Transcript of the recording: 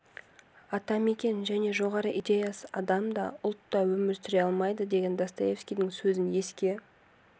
атамекен және жоғары идеясыз адам да ұлт та өмір сүре алмайды деген достоевскийдің сөзін еске